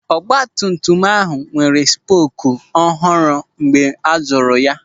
Ọgbatumtum ahụ nwere spoku ọhụrụ mgbe a zụrụ ya.